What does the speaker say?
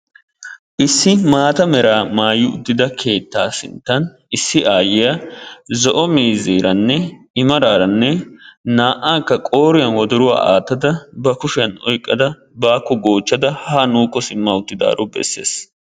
issi maata meraa maayi uttida keettaa sinttan issi aayiya zo'o miizeeranne i maraara naa'aakka qooriyan wodoruwa aatada oyqqada baakko goochchada haa nuukko simmada utidaaro besees..